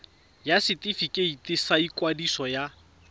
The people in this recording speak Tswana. ya setefikeiti sa ikwadiso ya